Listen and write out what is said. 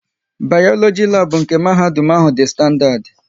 Bayoloji labu nke mahadum ahụ dị standadi